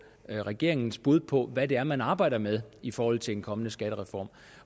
regeringens bud på hvad det er man arbejder med i forhold til en kommende skattereform